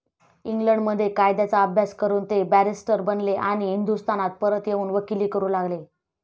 इंग्लंडमध्ये कायद्याचा अभ्यास करून ते बॅरिस्टर बनले आणि हिंदुस्थानात परत येऊन वकिली करू लागले.